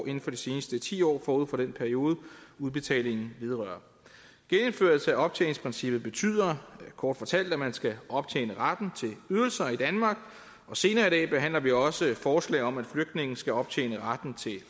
inden for de seneste ti år forud for den periode udbetalingen vedrører genindførelse af optjeningsprincippet betyder kort fortalt at man skal optjene retten til ydelser i danmark og senere i dag behandler vi også et forslag om at flygtninge skal optjene retten til